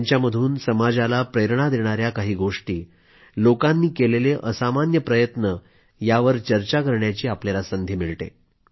त्यांच्यामधून समाजाला प्रेरणा देणाया काही गोष्टी लोकांनी केलेले असामान्य प्रयत्न यावर चर्चा करण्याची आपल्याला संधी मिळते